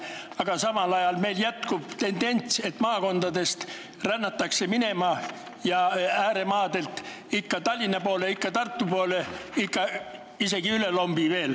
Aga samal ajal jätkub meil tendents, et maakondadest rännatakse minema ja ääremaadelt minnakse ikka Tallinna poole, ikka Tartu poole, isegi üle lombi.